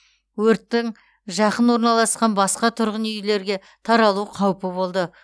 өрттің жақын орналасқан басқа тұрғын үйлерге таралу қаупі болды